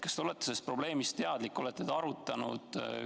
Kas te olete sellest probleemist teadlik, olete seda arutanud?